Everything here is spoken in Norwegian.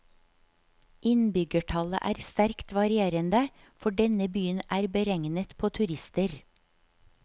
Innbyggertallet er sterkt varierende, for denne byen er beregnet på turister.